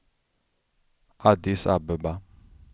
Addis Abeba